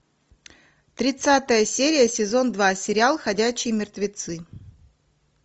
тридцатая серия сезон два сериал ходячие мертвецы